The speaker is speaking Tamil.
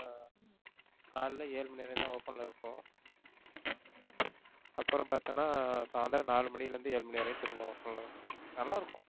காலைல ஏழு மணி வரையும் தான் open ல இருக்கும் அப்புறம் பாத்தன்னா சாயந்தரம் நாலு மணியிலிருந்து ஏழு மணி வரையும் திரும்ப open ல இருக்கும், நல்லா இருக்கும்.